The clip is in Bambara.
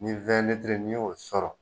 Nin win litiri ni ye o sɔrɔ